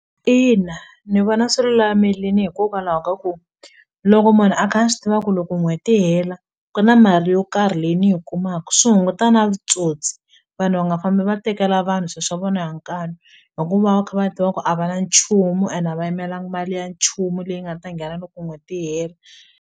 Ina ni vona swi lulamelini hikokwalaho ka ku loko munhu a kha a swi tiva ku loko n'hweti yi hela ku na mali yo karhi leyi ni yi kumaka swi hunguta na vutsotsi vanhu va nga fambi va tekela vanhu swi swa vona hi nkanu hi ku va va kha va tiva ku a va na nchumu ene a va yimelangi mali ya nchumu leyi nga ta nghena loko n'hweti yi hela.